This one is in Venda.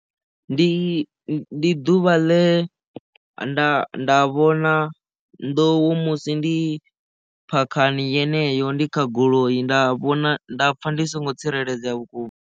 Ndi ḓuvha ḽe nda vhona nḓou musi ndi phakhani yeneyo ndi kha goloi nda vhona nda pfha ndi songo tsireledzea vhukuma.